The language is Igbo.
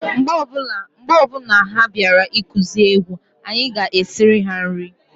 Mgbe ọbụna ha bịara ikuzi egwu, anyị ga- esiri ha nri.